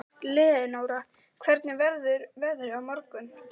Leónóra, hvernig verður veðrið á morgun?